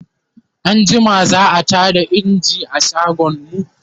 anjima za'a Tada engine a shagon mu